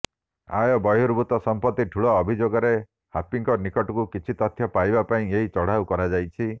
ଆୟ ବହିର୍ଭୁତ ସମ୍ପର୍ତ୍ତି ଠୁଳ ଅଭିଯୋଗରେ ହାପିଙ୍କ ନିକଟରୁ କିଛି ତଥ୍ୟ ପାଇବା ପାଇଁ ଏହି ଚଢ଼ାଉ କରାଯାଇଛି